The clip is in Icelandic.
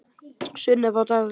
Sunneva og Dagur.